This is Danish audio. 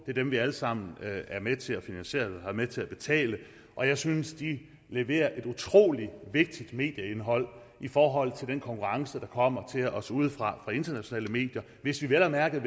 er dem vi alle sammen er med til at finansiere og med til at betale og jeg synes at de leverer et utrolig vigtigt medieindhold i forhold til den konkurrence der kommer til os udefra fra internationale medier hvis vi vel at mærke